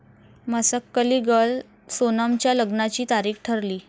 Masakali girl' सोनमच्या लग्नाची तारीख ठरली